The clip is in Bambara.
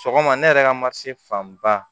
Sɔgɔma ne yɛrɛ ka ma se fan ba